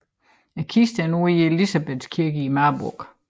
Kisten er nu i Elisabethkirken i Marburg